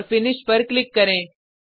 और फिनिश पर क्लिक करें